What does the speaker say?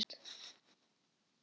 Hárlaugur, hvar er dótið mitt?